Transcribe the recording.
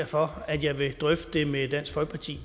for at jeg vil drøfte det med dansk folkeparti